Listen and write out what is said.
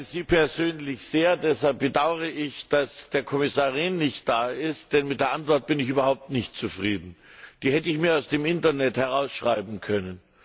Ich schätze Sie persönlich sehr, deshalb bedaure ich, dass der Kommissar Rehn nicht da ist, denn mit der Antwort bin ich überhaupt nicht zufrieden. Die hätte ich mir aus dem Internet abschreiben können.